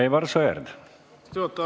Austatud juhataja!